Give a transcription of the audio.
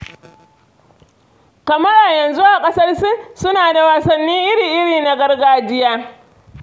Kamar a yanzu a ƙasar Sin suna da wasannin iri-iri na gargajiya.